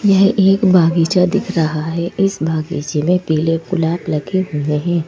ये एक बगीचा दिख रहा है इस बगीचे में पीले गुलाब लगे हुए हैं।